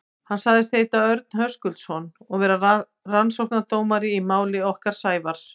Hann sagðist heita Örn Höskuldsson og vera rannsóknardómari í máli okkar Sævars.